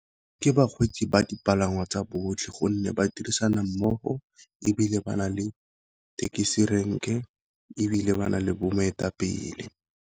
Ke bakgweetsi ba dipalangwa tsa botlhe gonne ba dirisana mmogo ebile ba na le thekisi renke, ebile ba na le bo moetapele.